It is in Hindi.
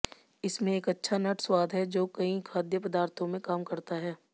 इसमें एक अच्छा नट स्वाद है जो कई खाद्य पदार्थों में काम करता है